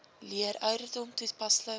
leer ouderdom toepaslik